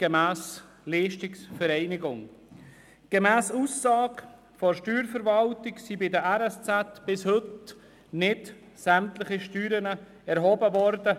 Laut Aussage der Steuerverwaltung sind bei den RSZ bis heute nicht alle Steuern erhoben worden.